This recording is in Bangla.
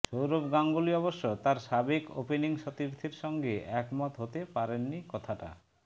সৌরভ গাঙ্গুলী অবশ্য তাঁর সাবেক ওপেনিং সতীর্থের সঙ্গে একমত হতে পারেননি কথাটা